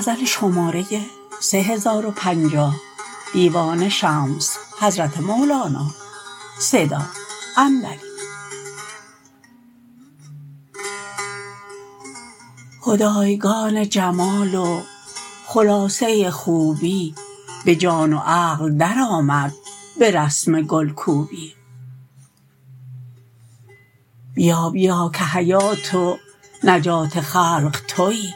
خدایگان جمال و خلاصه خوبی به جان و عقل درآمد به رسم گل کوبی بیا بیا که حیات و نجات خلق توی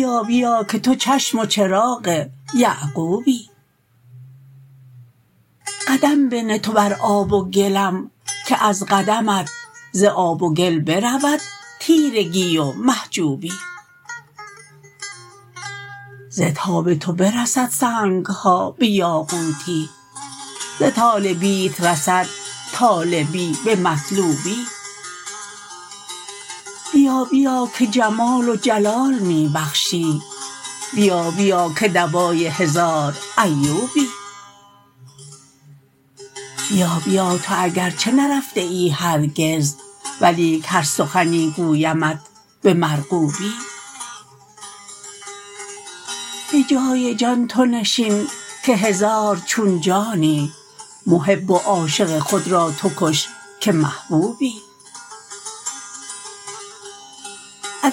بیا بیا که تو چشم و چراغ یعقوبی قدم بنه تو بر آب و گلم که از قدمت ز آب و گل برود تیرگی و محجوبی ز تاب تو برسد سنگ ها به یاقوتی ز طالبیت رسد طالبی به مطلوبی بیا بیا که جمال و جلال می بخشی بیا بیا که دوای هزار ایوبی بیا بیا تو اگر چه نرفته ای هرگز ولیک هر سخنی گویمت به مرغوبی به جای جان تو نشین که هزار چون جانی محب و عاشق خود را تو کش که محبوبی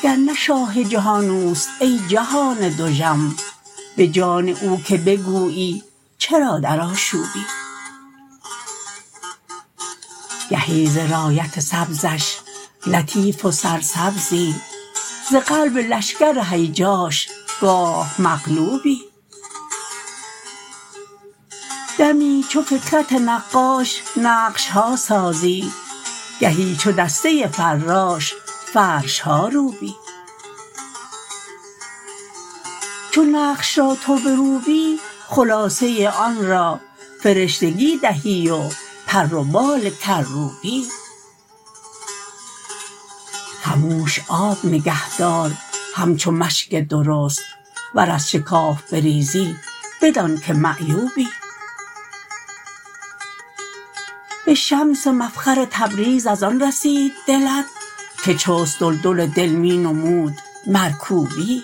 اگر نه شاه جهان اوست ای جهان دژم به جان او که بگویی چرا در آشوبی گهی ز رایت سبزش لطیف و سرسبزی ز قلب لشکر هیجاش گاه مقلوبی دمی چو فکرت نقاش نقش ها سازی گهی چو دسته فراش فرش ها روبی چو نقش را تو بروبی خلاصه آن را فرشتگی دهی و پر و بال کروبی خموش آب نگهدار همچو مشک درست ور از شکاف بریزی بدانک معیوبی به شمس مفخر تبریز از آن رسید دلت که چست دلدل دل می نمود مرکوبی